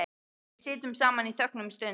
Við sitjum saman í þögn um stund.